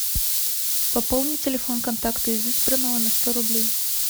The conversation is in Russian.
пополни телефон контакту из избранного на сто рублей